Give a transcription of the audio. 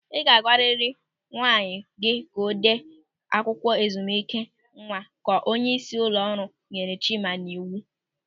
"Ị ga-agwarịrị nwunye gị ka o dee akwụkwọ ezumike nwa" ka onyeisi ụlọ ọrụ nyere Chima n'iwu